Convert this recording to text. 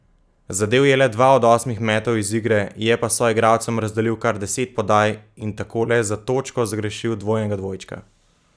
Zadel je le dva od osmih metov iz igre, je pa soigalcem razdelil kar deset podaj in tako le za točko zgrešil dvojnega dvojčka.